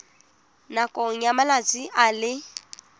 nakong ya malatsi a le